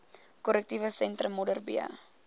korrektiewe sentrum modderbee